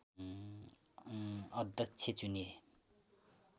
अध्यक्ष चुनिए